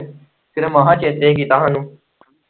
ਕਿਤੇ ਮਸਾਂ ਚੇਤੇ ਕੀਤਾ ਹਾਨੂੰ।